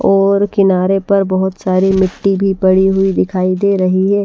और किनारे पर बहुत सारी मिट्टी भी पड़ी हुई दिखाई दे रही है।